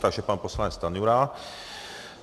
Takže pan poslanec Stanjura.